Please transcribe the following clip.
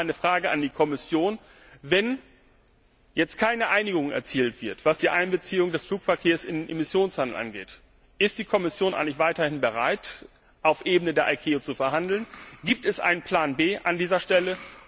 Dazu auch meine Frage an die Kommission Wenn jetzt keine Einigung erzielt wird, was die Einbeziehung des Flugverkehrs in den Emissionshandel angeht, ist die Kommission eigentlich weiter bereit, auf Ebene der ICAO zu verhandeln? Gibt es einen Plan B an dieser Stelle?